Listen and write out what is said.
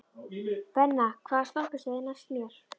Benna, hvaða stoppistöð er næst mér?